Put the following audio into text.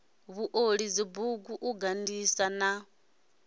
vhuoli dzibugu u gandisa na